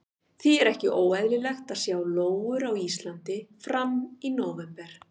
Því er ekki óeðlilegt að sjá lóur á Íslandi fram í nóvember.